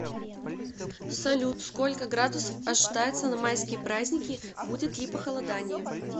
салют сколько градусов ожидается на майские праздники будет ли похолодание